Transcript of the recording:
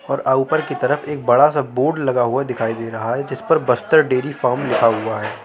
और ऊपर कि तरफ एक बड़ा सा बोर्ड लगा हुआ दिखाई दे रहा है जिस पर बस्तर डेयरी फार्म लिखा हुआ है।